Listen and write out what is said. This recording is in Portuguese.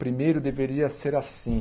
Primeiro deveria ser assim.